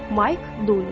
Mayk Duli.